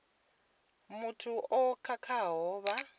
na muthu o khakhaho vha